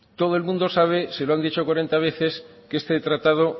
todo el mundo sabe se lo han dicho cuarenta veces que este tratado